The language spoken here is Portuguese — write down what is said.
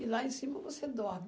e lá em cima você dorme.